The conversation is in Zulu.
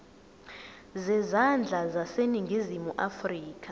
zezandla zaseningizimu afrika